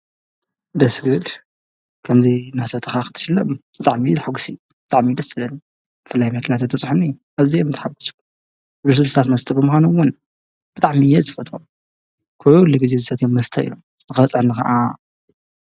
ደስ ክብል ከምዙይ ናሰተኻ ኽትሽለም ብጣዕሚ እዩ ዘሐጕስ ብጣዕሚ ደስ ይብል ብፍላይ መኪና ተትበፅሐኒ ኣዝየ ምተሓጎስኩ ልስሉሳት መስተ ብምኻኖም እውን ብጣዕሚ እየ ዝፈትዎም ኮሉ ጊዜ ዝሰትዮም መስተ እዮም ንኽበፅሐኒ ኸዓ